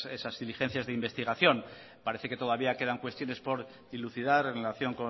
esas diligencias de investigación parece que todavía quedan cuestiones por dilucidar en relación